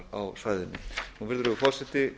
á svæðinu virðulegur forseti